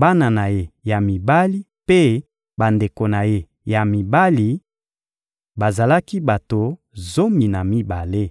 bana na ye ya mibali mpe bandeko na ye ya mibali: bazalaki bato zomi na mibale.